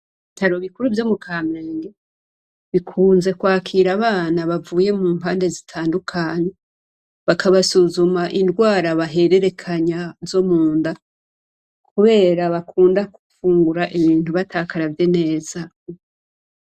Ibitaro bikuru vyo mukamenge bikunze kwakira abana bavuye mumpande zitandukanye, bakabasuzuma indwara bahererekanya zo munda, kubera bakunda gufungura ibintu batakaravye neza.